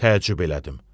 Təəccüb elədim.